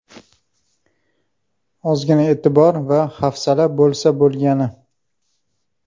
Ozgina e’tibor va hafsala bo‘lsa bo‘lgani.